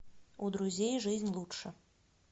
у друзей жизнь лучше